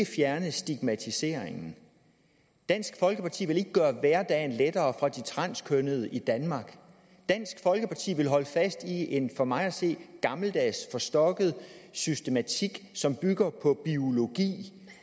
fjerne stigmatiseringen dansk folkeparti vil ikke gøre hverdagen lettere for de transkønnede i danmark dansk folkeparti vil holde fast i en for mig at se gammeldags forstokket systematik som bygger på biologi